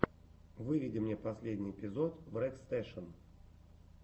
выведи мне последний эпизод врекстэшен